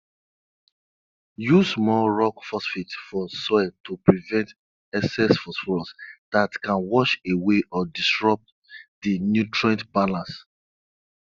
use small rock phosphate for soil to prevent excess phosphorus that can wash away or disrupt the nutrient balance